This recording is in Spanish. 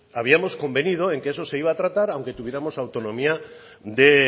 habíamos convenido en que eso se iba a tratar aunque tuviéramos autonomía de